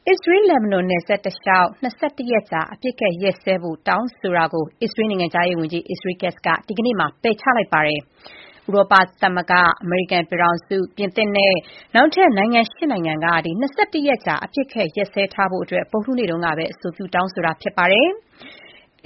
အစ္စရေး−လက်ဘနွန် နယ်စပ်တလျှောက် ၂၁ ရက်ကြာ အပစ်အခတ် ရပ်စဲရေးတောင်းဆိုမှုကို အစ္စရေးနိုင်ငံခြားရေးဝန်ကြီး Israel Katz က ပယ်ချလိုက်ပါတယ်။ ဥရောပသမဂ္ဂ၊ အမေရိကန်ပြည်ထောင်စု၊ ပြင်သစ်နိုင်ငံအပြင် နောက်ထပ် ၈ နိုင်ငံက ၂၁ ရက်ကြာ အပစ်အခတ်ရပ်ထားဖို့ ဗုဒ္ဓဟူးနေ့က အဆိုပြု တောင်းဆိုခဲ့တာဖြစ်ပါတယ်။